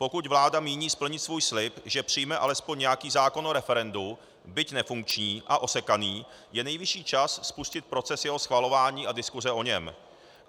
Pokud vláda míní splnit svůj slib, že přijme alespoň nějaký zákon o referendu, byť nefunkční a osekaný, je nejvyšší čas spustit proces jeho schvalování a diskuse o něm.